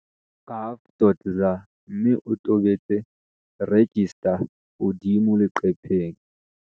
gov.za mme o tobetse 'register' hodimo leqepheng.